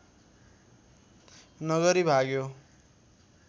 नगरी भाग्यो